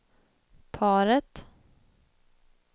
paret